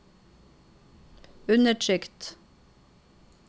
undertrykt